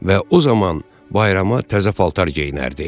Və o zaman bayrama təzə paltar geyinərdi.